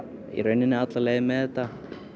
í raun alla leið með þetta